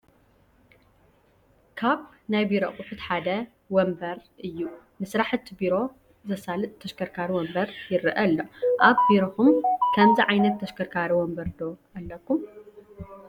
ካብ ናይ ቢሮ ኣቑሑት ሓደ ወንበር እዩ፡፡ ንስራሕቲ ቢሮ ዘሳልጥ ተሽከርካሪ ወንበር ይረአ ኣሎ፡፡ ኣብ ቢሮኹም ከምዚ ዓይነት ተሽከርካሪ ወንበር ዶ ኣለኩም፡፡